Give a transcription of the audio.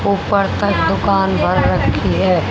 ऊपर तक दुकान भर रखी है।